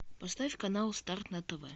поставь канал старт на тв